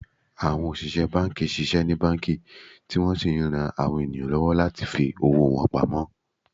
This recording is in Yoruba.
Àwọn òṣìṣẹ́ banki ṣiṣẹ́ ní banki, tí wọ́n sì ń rán àwọn ènìyàn lọ́wọ́ láti fi owó wọn pamó